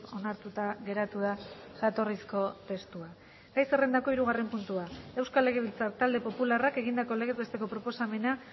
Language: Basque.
onartuta geratu da jatorrizko testua gai zerrendako hirugarren puntua euskal legebiltzar talde popularrak egindako legez besteko proposamena